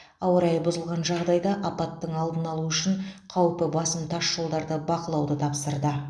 ауа райы бұзылған жағдайда апаттың алдын алу үшін қаупі басым тасжолдарды бақылауды тапсырды